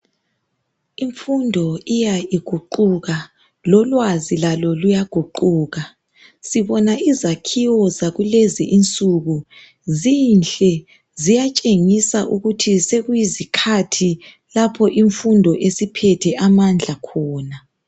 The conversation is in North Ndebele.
Imfundo iya iguquka. Lolwazi lalo luyaguquka. Sibona izakhiwo zakulezi insuku zinhle, ziyatshengisa ukuthi sekuyizikhathi lapho imfundo esiphethe amandla khona.